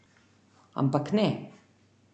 Ampak ne.